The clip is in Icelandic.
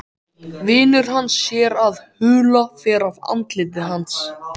Vinur hans sér að hula fer af andliti hans.